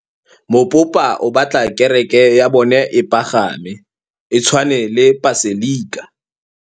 Mopapa o batla kereke ya bone e pagame, e tshwane le paselika.